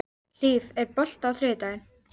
Hlíf, er bolti á þriðjudaginn?